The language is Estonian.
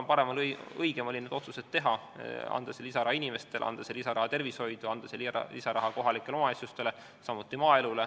Ma arvan, et õigem oli need otsused teha, anda see lisaraha inimestele, anda see lisaraha tervishoidu, anda see lisaraha kohalikele omavalitsustele, samuti maaelule.